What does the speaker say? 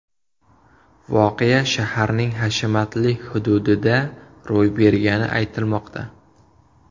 Voqea shaharning hashamatli hududida ro‘y bergani aytilmoqda.